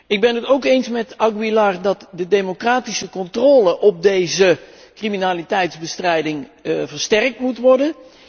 Ik ben het ook eens met Aguilar dat de democratische controle op deze criminaliteitbestrijding versterkt moet worden.